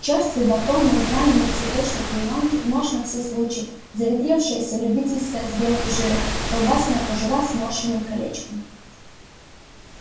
чёрствый батон на израненной цветочной клеёнке нож на все случаи заветревшаяся любительская с белым жиром колбасная кожура сморщенным колечком